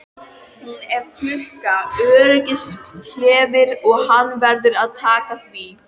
Hún er klukka, öryggisskelfir og hann verður að taka því.